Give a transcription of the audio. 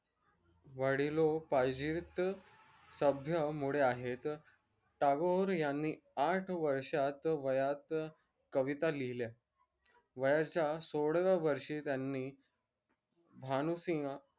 वडीलोपार्जित सभ्य मुडे आहेत टागोर यांनी आठ वर्षात वयात कविता लिहिल्या वयाच्या सोळाव्या वर्षी त्यांनी भानूसिंह